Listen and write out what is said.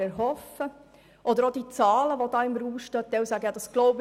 Auch was die Zahlen anbelangt, die im Raum stehen, gibt es noch Klärungsbedarf.